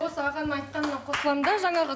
осы ағаның айтқанына қосыламын да жаңағы